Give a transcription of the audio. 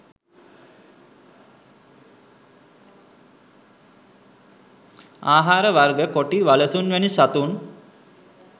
ආහාර වර්ග කොටි, වලසුන් වැනි සතුන්